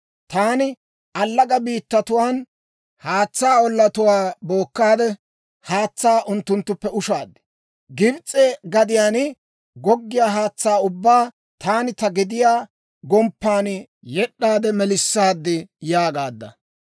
Taani allaga biittatuwaan haatsaa ollatuwaa bookkaade, Haatsaa unttunttuppe ushaad. Gibs'e gadiyaan goggiyaa haatsaa ubbaa taani ta gediyaa gomppan yed'd'aade melissaad› yaagaadda.